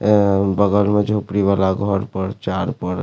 ए बगल में झोंपडी वाला घर पर चार पर --